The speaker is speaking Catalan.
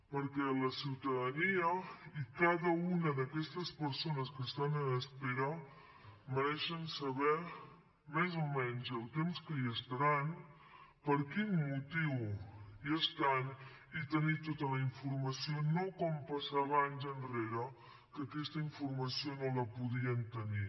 perquè la ciutadania i cada una d’aquestes persones que estan en espera mereixen saber més o menys el temps que hi estaran per quin motiu hi estan i tenir tota la informació no com passava anys enrere que aquesta informació no la podien tenir